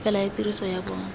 fela ya tiriso ya bona